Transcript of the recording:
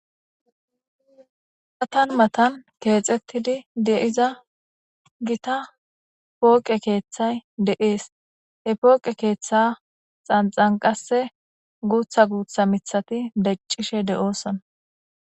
matan matan keexxettidi deiza gita pooqe keeththay de7ees he pooqe keeththa xanxanqase guutha guutha mithati deccishe de7ooson